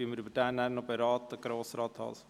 Oder beraten wir diesen noch, Grossrat Haas?